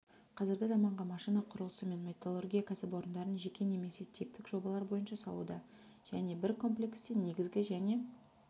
қазіргі заманғы машина құрылысы және металлургия кәсіпорындарын жеке немесе типтік жобалар бойынша салуда және бір комплексте негізгі және